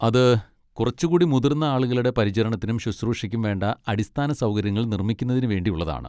അത് കുറച്ചുകൂടി മുതിർന്ന ആളുകളുടെ പരിചരണത്തിനും ശുശ്രൂഷയ്ക്കും വേണ്ട അടിസ്ഥാനസൗകര്യങ്ങൾ നിർമ്മിക്കുന്നതിന് വേണ്ടി ഉള്ളതാണ്.